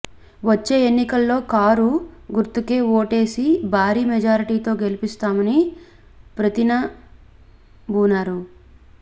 వచ్చే ఎన్నికల్లో కారు గుర్తుకే ఓటేసి భారీ మెజారిటీతో గెలిపిస్తామని ప్రతినబూనారు